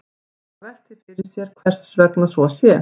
Menn hafa velt því fyrir sér hvers vegna svo sé.